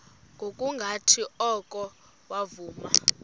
ngokungathi oko wavuma